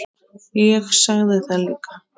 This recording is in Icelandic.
Ég sagði það líka.